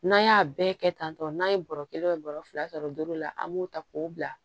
N'an y'a bɛɛ kɛ tan tɔ n'a ye bɔrɔ kelen bɔrɔ fila sɔrɔ duuru la an b'o ta k'o bila